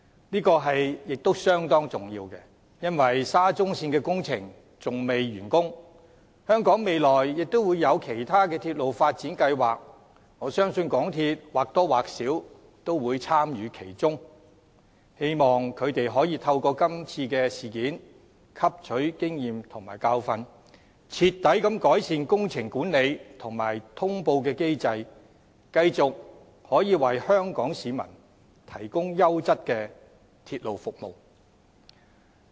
這亦相當重要，因為沙中線的工程尚未完成，而香港未來亦有其他鐵路發展計劃，我相信港鐵公司或多或少也會參與其中，希望他們可以透過今次的事件汲取經驗和教訓，徹底改善工程管理及通報機制，繼續為香港市民提供優質的鐵路服務。